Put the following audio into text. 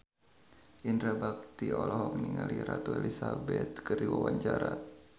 Indra Bekti olohok ningali Ratu Elizabeth keur diwawancara